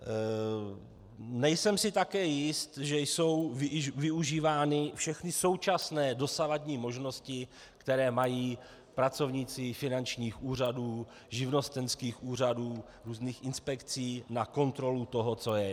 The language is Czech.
Nejsem si také jist, že jsou využívány všechny současné dosavadní možnosti, které mají pracovníci finančních úřadů, živnostenských úřadů, různých inspekcí na kontrolu toho, co je.